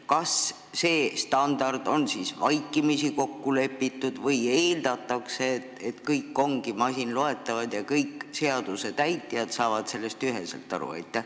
Kas see standard on siis vaikimisi kokku lepitud või eeldatakse, et kõik andmed ongi masinloetavad ja kõik seaduse täitjad saavad sellest üheselt aru?